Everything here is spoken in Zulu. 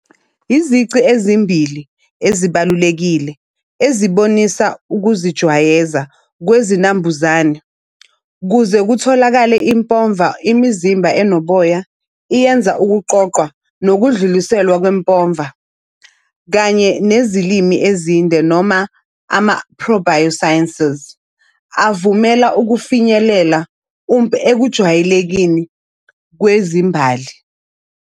Izici ezimbili ezibalulekile ezibonisa ukuzijwayeza kwezinambuzane kuze kutholakale impova, imizimba enoboya iyenza ukuqoqwa nokudluliselwa kwempova, kanye nezilimi ezinde noma ama-ProbioSciences avumela ukufinyelela ekujwayelekeni kwezimbali.